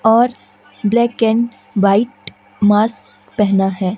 और black and white mask पहना है।